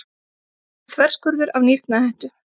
Þverskurður af nýrnahettu.